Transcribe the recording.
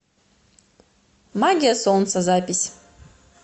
магия солнца запись